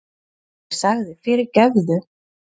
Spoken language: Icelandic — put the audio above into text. Ég sagði: Fyrirgefðu!